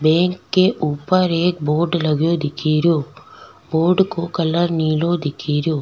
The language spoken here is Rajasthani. बैंक के ऊपर एक बोर्ड लगयो दिखेरयो बोर्ड को कलर नीलो दिखेरयो।